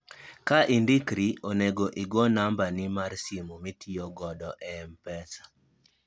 ka indikri, onego igol namba ni mar simu mitiyo kodo ei mpesa